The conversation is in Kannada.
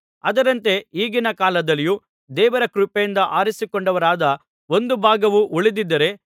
ಅದರಂತೆ ಈಗಿನ ಕಾಲದಲ್ಲಿಯೂ ದೇವರ ಕೃಪೆಯಿಂದ ಆರಿಸಿಕೊಂಡವರಾದ ಒಂದು ಭಾಗವು ಉಳಿದಿದ್ದಾರೆ